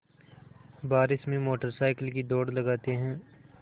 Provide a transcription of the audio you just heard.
बारिश में motorcycle की दौड़ लगाते हैं